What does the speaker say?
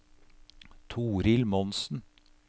Toril Monsen